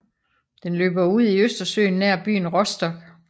Den løber ud i Østersøen nær byen Rostock